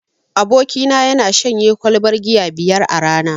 Abokina yana shanye kwalbar giya biyar a rana.